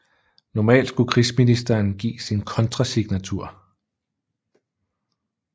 Normalt skulle krigsministeren give sin kontrasignatur